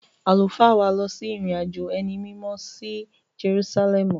Àlùfáà wa lọ ìrìn-àjò ẹni mímọ́ sí Jerúsálẹ́ẹ̀mù.